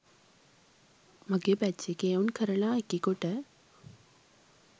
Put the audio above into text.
මගේ බැච් එකේ එවුන් කරලා එකෙකුට